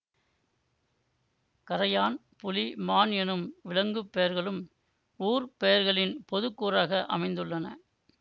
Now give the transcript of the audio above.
கறையான் புலி மான் என்னும் விலங்குப் பெயர்களும் ஊர் பெயர்களின் பொதுக்கூறாக அமைந்துள்ளன